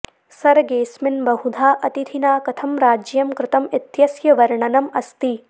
सर्गेऽस्मिन् बहुधा अतिथिना कथं राज्यं कृतम् इत्यस्य वर्णनम् अस्ति